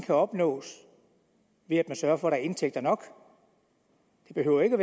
kan opnås ved at man sørger for at indtægter nok det behøver ikke